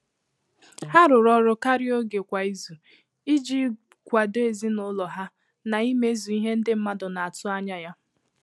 Há rụ́rụ́ ọrụ́ kàrị́à ògé kwá ízù ìjí kwàdò èzínụ́lọ há nà ímézù ìhè ndị́ mmàdụ̀ nà-àtụ́ ányá yá.